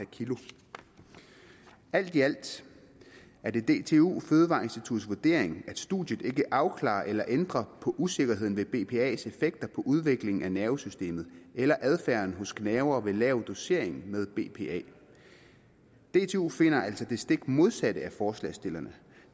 alt i alt er det det dtu fødevareinstituttets vurdering at studiet ikke afklarer eller ændrer på usikkerheden ved bpa’s effekter på udviklingen af nervesystemet eller adfærden hos gnavere ved lav dosering med bpa dtu finder altså det stik modsatte af forslagsstillerne